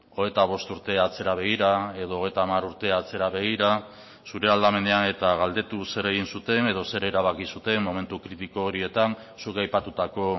hogeita bost urte atzera begira edo hogeita hamar urte atzera begira zure aldamenean eta galdetu zer egin zuten edo zer erabaki zuten momentu kritiko horietan zuk aipatutako